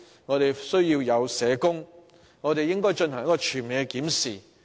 我們需要社工，並應就社工人手進行全面檢視。